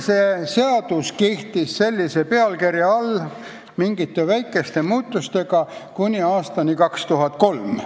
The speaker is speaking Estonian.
See seadus kehtis sellise pealkirja all mingite väikeste muudatustega kuni aastani 2003.